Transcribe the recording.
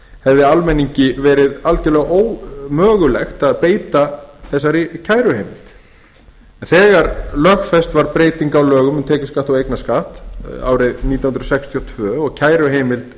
hefði almenningi verið algjörlega ómögulegt að beita þessari kæruheimild þegar lögfest var breyting á lögum um tekjuskatt og eignarskatt árið nítján hundruð sextíu og tvö og kæruheimild